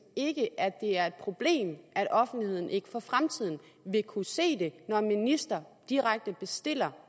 ikke at det er et problem at offentligheden ikke for fremtiden vil kunne se når en minister direkte bestiller